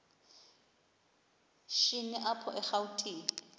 shini apho erawutini